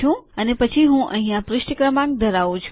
અને પછી હું અહીંયા પુષ્ઠ ક્રમાંક ધરાવું છું